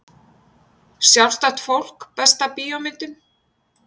Sjálfstætt fólk Besta bíómyndin?